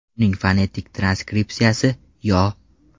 Uning fonetik transkripsiyasi – yo .